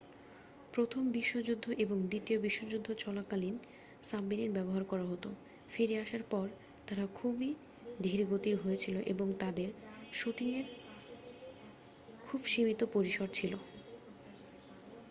প্রথম বিশ্বযুদ্ধ এবং দ্বিতীয় বিশ্বযুদ্ধ চলাকালীন সাবমেরিন ব্যবহার করা হত ফিরে আসার পর তারা খুবই ধীরগতির হয়েছিল এবং তাদের শুটিংয়ের খুব সীমিত পরিসর ছিল